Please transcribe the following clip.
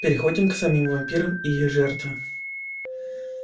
переходим к самим вампирам и их жертве